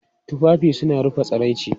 Tufafi suna rufe tsiraici.